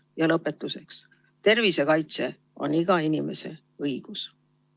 Ja lõpetuseks: tervise kaitse on iga inimese õigus.